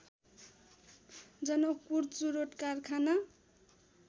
जनकपुर चुरोट कारखाना